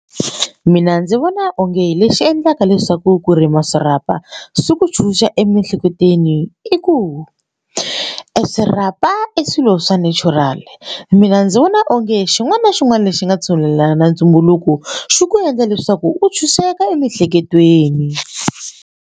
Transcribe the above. Mina ndzi vona onge lexi endlaka leswaku ku rima swirhapa swi ku tshunxa emiehleketweni i ku e swirhapa i swilo swa natural mina ndzi vona onge xin'wana na xin'wana lexi nga tshungulela na ntumbuluko xi ku endla leswaku u tshunxeka emiehleketweni.